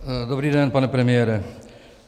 Dobrý den, pane premiére.